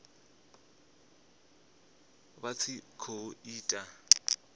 vha tshi khou i ita